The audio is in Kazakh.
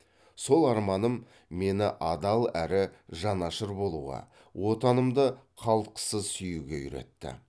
сол арманым мені адал әрі жанашыр болуға отанымды қалтқысыз сүюге үйретті